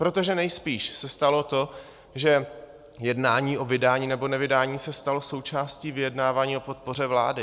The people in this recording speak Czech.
Protože nejspíš se stalo to, že jednání o vydání nebo nevydání se stalo součástí vyjednávání o podpoře vlády.